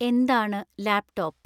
എന്താണ് ലാപ്ടോപ്പ്